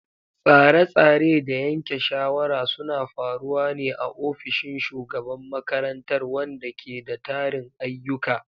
Tsare-tsare da yanke shawara suna faruwa ne a ofishin shugaban makarantar, wanda ke da tarin ayyuka.